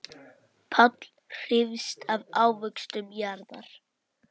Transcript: Páll hrífst af ávöxtum jarðar.